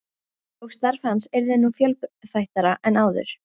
Og starf hans yrði nú fjölþættara en áður.